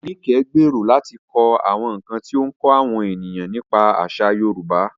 Nike gbèrò láti kọ àwọn nkan tí ó ń kọ́ àwọn ènìyàn nípa àṣà Yorùbá.